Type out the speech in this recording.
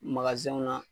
na